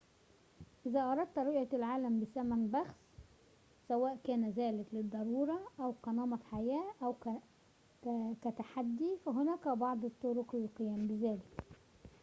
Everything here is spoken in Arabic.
إذا أردت رؤية العالم بثمن بخس سوءً كان ذلك للضرورة أو كنمط حياة أو كتحدٍ فهناك بعض الطرق للقيام بذلك